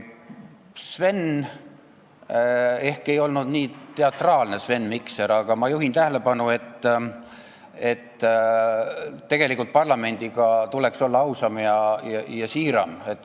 Sven Mikser ehk ei olnud nii teatraalne, aga ma juhin tähelepanu, et tegelikult tuleks parlamendiga olla ausam ja siiram.